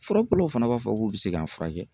Furabɔlɔw fana b'a fɔ k'u bɛ se k'a furakɛ.